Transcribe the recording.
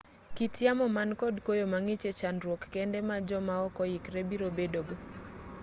kit yamo man kod koyo mang'ich e-chandruok kende ma jo ma ok oikore biro bedo go